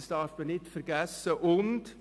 Dies darf nicht vergessen werden.